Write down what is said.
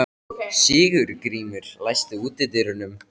Sigurgrímur, læstu útidyrunum.